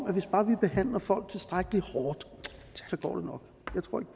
at hvis bare vi behandler folk tilstrækkelig hårdt